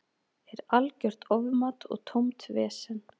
Er algjört ofmat og tómt vesen.